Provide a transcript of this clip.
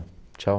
Tchau.